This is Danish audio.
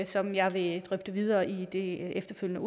som jeg vil drøfte videre i det efterfølgende